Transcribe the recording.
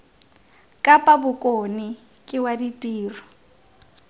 kapa bokone ke wa ditiro